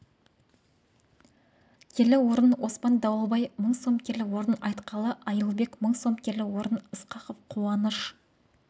келі орын оспан дауылбай мың сом келі орын айтқалы айылбек мың сом келі орын ысқақов қуаныш